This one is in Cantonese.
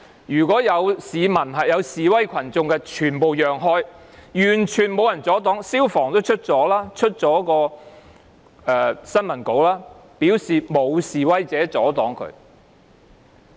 沿途示威群眾全部讓開，完全沒有人阻擋救護員，消防處也發了新聞稿，表示沒有示威者阻擋他們。